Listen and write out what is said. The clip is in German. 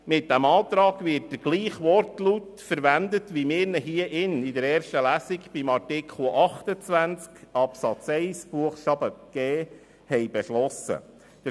Mit diesem Antrag wird derselbe Wortlaut verwendet, wie wir ihn hier im Saal in der ersten Lesung bei Artikel 28 Absatz 1 Buchstabe g beschlossen haben.